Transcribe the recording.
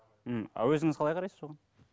м а өзіңіз қалай қарайсыз оған